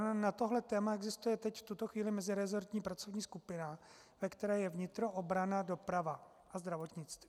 Na toto téma existuje teď v tuto chvíli mezirezortní pracovní skupina, ve které je vnitro, obrana, doprava a zdravotnictví.